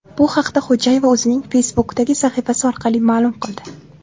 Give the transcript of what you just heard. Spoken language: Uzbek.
Bu haqda Xo‘jayeva o‘zining Facebook’dagi sahifasi orqali ma’lum qildi .